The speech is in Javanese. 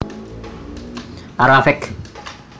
A Rafiq